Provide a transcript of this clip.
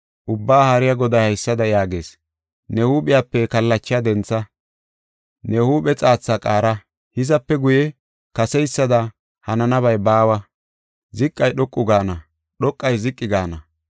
Ubbaa Haariya Goday haysada yaagees: ne huuphiyape kallachaa dentha; ne huuphe xaatha qaara. Hizape guye kaseysada hananabay baawa; ziqay dhoqu gaana; dhoqay ziqi gaane.